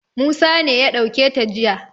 Musa ne ya ɗauke ta jiya.